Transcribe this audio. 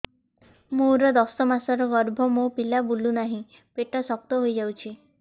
ମୋର ଦଶ ମାସର ଗର୍ଭ ମୋ ପିଲା ବୁଲୁ ନାହିଁ ପେଟ ଶକ୍ତ ହେଇଯାଉଛି